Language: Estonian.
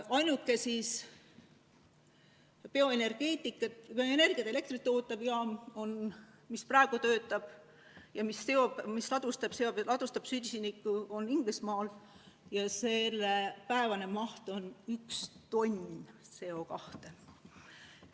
Ainuke bioenergiat, elektrit tootev jaam, mis praegu töötab ja mis ladustab süsinikku, on Inglismaal ja selle päevane maht on 1 tonn CO2.